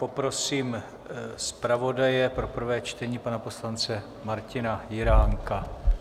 Poprosím zpravodaje pro prvé čtení, pana poslance Martina Jiránka.